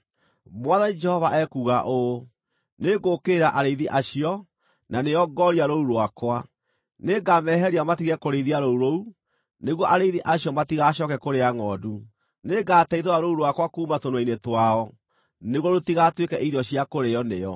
Mwathani Jehova ekuuga ũũ: Nĩngũũkĩrĩra arĩithi acio, na nĩo ngooria rũũru rwakwa. Nĩngameheria matige kũrĩithia rũũru rũu, nĩguo arĩithi acio matigacooke kũrĩa ngʼondu. Nĩngateithũra rũũru rwakwa kuuma tũnua-inĩ twao, nĩguo rũtigatuĩke irio cia kũrĩĩo nĩo.